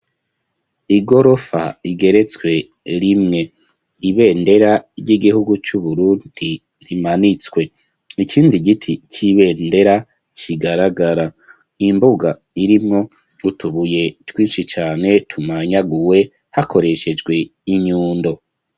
Igorofa, igeretswe rimwe; ibendera ry'igihugu, c'Uburundi, rimanitswe; ikindi giti c'ibendera, kigaragara; imbuga irimwo, utubuye twinshi cane, tumanyaguwe, hakoreshejwe, inyundo.